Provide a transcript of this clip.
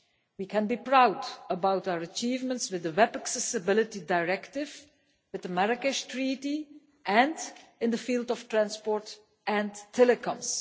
We can be proud of our achievements with the Web Accessability Directive, with the Marrakech Treaty and in the field of transport and telecoms.